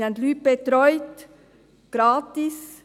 Wir haben Leute betreut, gratis.